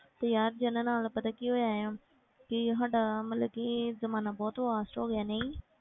ਤੇ ਯਾਰ ਜਿੰਨਾਂ ਨਾਲ ਪਤਾ ਕੀ ਹੋਇਆ ਹੈ ਕਿ ਸਾਡਾ ਮਤਲਬ ਕਿ ਜ਼ਮਾਨਾ ਬਹੁਤ fast ਹੋ ਗਿਆ ਨਹੀਂ